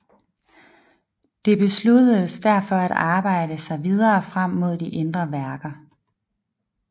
Det besluttedes derfor at arbejde sig videre frem mod de indre værker